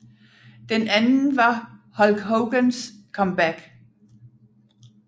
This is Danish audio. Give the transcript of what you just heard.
Den anden var Hulk Hogans comeback